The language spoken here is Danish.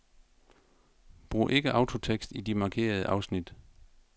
Brug ikke autotekst i de markerede afsnit.